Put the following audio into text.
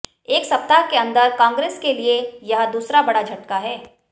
एक सप्ताह के अंदर कांग्रेस के लिए यह दूसरा बड़ा झटका है